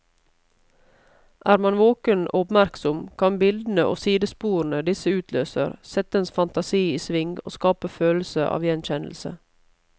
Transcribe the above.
Er man våken og oppmerksom, kan bildene og sidesporene disse utløser, sette ens fantasi i sving og skape følelse av gjenkjennelse.